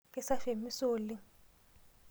Keisafi emisa oleng.